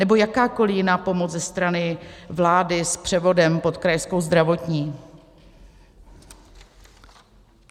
Nebo jakákoli jiná pomoc ze strany vlády s převodem pod Krajskou zdravotní?